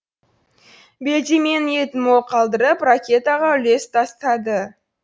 белдеменің етін мол қалдырып ракетаға үлес тастады